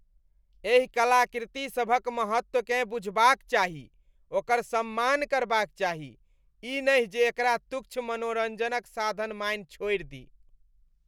एहि कलाकृतिसभक महत्वकेँ बुझबाक चाही, ओकर सम्मान करबाक चाही, ई नहि जे एकरा तुच्छ मनोरञ्जनक साधन मानि छोड़ि दी।